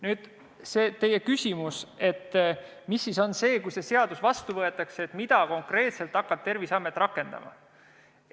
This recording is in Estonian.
Nüüd, teie küsimus: mis on see, mida Terviseamet selle seaduse vastuvõtmisel konkreetselt hakkab rakendama?